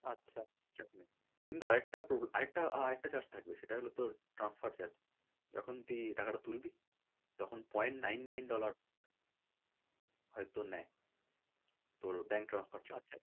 কিন্তু আরেকটা, আহ আরেকটা charge থাকবে সেটা হলো তোর transfer charge যখন তুই টাকা টা তুলবি তখন point line line dollar হয়তো নেয় তোর bank transfer charge